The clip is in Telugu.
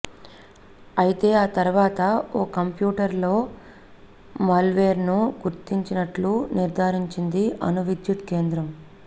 అయితే ఆ తర్వాత ఓ కంప్యూటర్లో మాల్వేర్ను గుర్తించినట్లు నిర్థారించింది అణువిద్యుత్ కేంద్రం